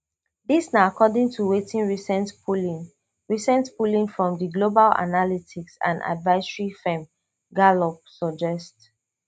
dis na according to wetin recent polling recent polling from di global analytics and advisory firm gallup suggest